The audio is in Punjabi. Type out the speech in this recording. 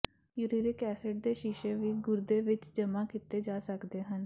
ਯੂਰੀਰਕ ਐਸਿਡ ਦੇ ਸ਼ੀਸ਼ੇ ਵੀ ਗੁਰਦੇ ਵਿੱਚ ਜਮ੍ਹਾ ਕੀਤੇ ਜਾ ਸਕਦੇ ਹਨ